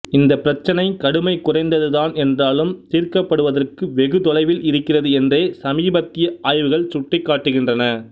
இந்த பிரச்சினை கடுமை குறைந்தது தான் என்றாலும் தீர்க்கப்படுவதற்கு வெகு தொலைவில் இருக்கிறது என்றே சமீபத்திய ஆய்வுகள் சுட்டிக்காட்டுகின்றன